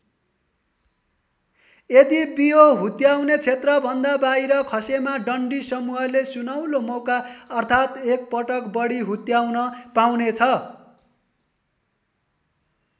यदि बियो हुत्याउने क्षेत्रभन्दा बाहिर खसेमा डन्डी समूहले सुनौलो मौका अर्थात् एकपटक बढी हुत्याउन पाउनेछ।